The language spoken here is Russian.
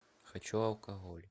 хочу алкоголь